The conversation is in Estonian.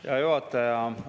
Hea juhataja!